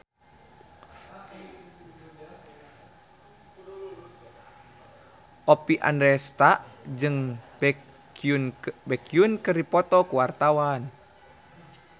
Oppie Andaresta jeung Baekhyun keur dipoto ku wartawan